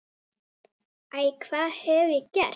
Æ, hvað hef ég gert?